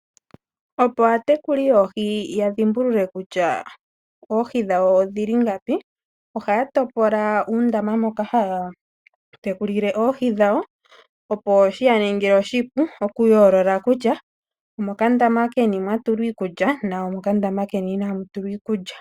Opo aatekuli yoohi ya dhimbulule kutya oohi dhawo odhili ngapi, ohaya topola uundama moka haya tekulile oohi dhawo, opo shiya ningile oshipu oku yoolola kutya omokandama keni mwa tulwa iikulya nomokandama keni iinamu tulwa iikulya.